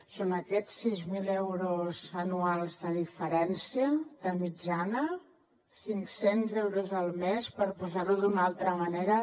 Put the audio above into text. són aquests sis mil euros anuals de diferència de mitjana cinccents euros al mes per posar ho d’una altra manera